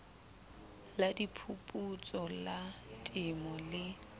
la diphuputso la temo le